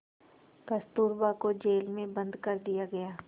कस्तूरबा को जेल में बंद कर दिया गया